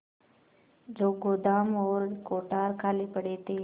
जो गोदाम और कोठार खाली पड़े थे